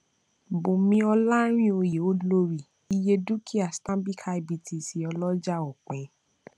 bùnmí olarinoyeolórí iye dúkìá stanbic ibtc ọlọjà òpin